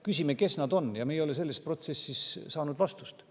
Küsimusele, kes nad on, ei ole me selles protsessis vastust saanud.